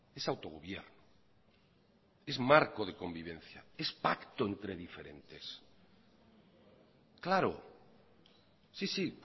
es autogobierno es marco de convivencia es pacto entre diferentes claro sí sí